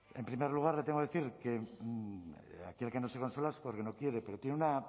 en primer lugar le tengo que decir aquí el que no se consuela es porque no quiere pero tiene una